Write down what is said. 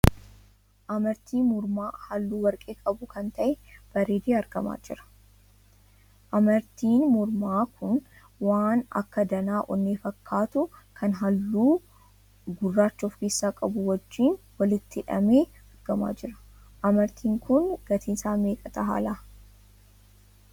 Amartii mormaa hallu warqee qabuu kan tahe bareedee argamaa jira. Amartiin mormaa kun waan akka danaa onnee fakkaatuu kan halluu gurraacha of keessaa qabu wajjiin walitti hidhamee argamaa jira. Amartiin kun gatiin isaa meeqa tahalaa?